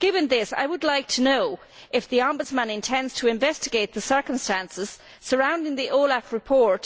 Given this, I would like to know if the Ombudsman intends to investigate the circumstances surrounding the OLAF report